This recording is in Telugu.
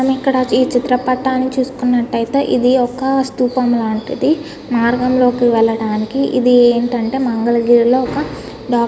ఇక్కడ ఈ చిత్ర పటాన్ని చూసుకున్నట్టయితే ఇది ఒక స్తూపం లాంటిది నార్మల్ గా వెళ్ళటానికి ఇది ఏంటంటే మంగళగిరి లో ఒక --